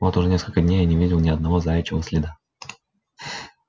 вот уже сколько дней я не видел ни одного заячьего следа